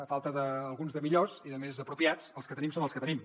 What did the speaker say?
a falta d’alguns de millors i de més apropiats els que tenim són els que tenim